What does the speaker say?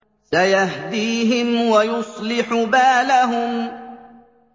سَيَهْدِيهِمْ وَيُصْلِحُ بَالَهُمْ